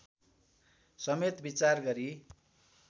समेत विचार गरी